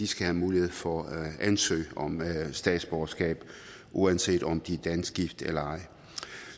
skal have mulighed for at ansøge om statsborgerskab uanset om de er dansk gift eller ej